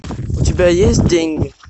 у тебя есть деньги